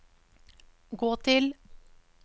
gå til